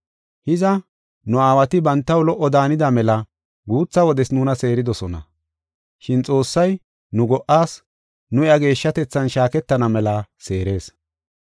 Hiza, nu aawati bantaw lo77o daanida mela guutha wodes nuna seeridosona. Shin Xoossay nu go77as, nu iya geeshshatethan shaaketana mela seerees.